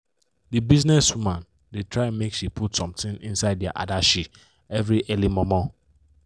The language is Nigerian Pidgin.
d business woman da try make she put something inside dia adashi every early momo